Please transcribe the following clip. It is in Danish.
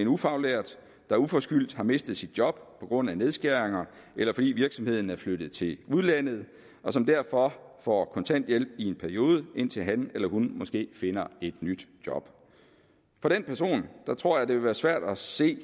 en ufaglært der uforskyldt har mistet sit job på grund af nedskæringer eller fordi virksomheden er flyttet til udlandet og som derfor får kontanthjælp i en periode indtil han eller hun måske finder et nyt job for den person tror jeg det vil være svært at se